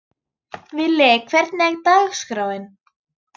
Villi, hvernig er dagskráin?